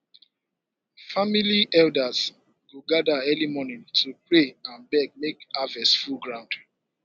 family elders go gather early morning to pray and beg make harvest full ground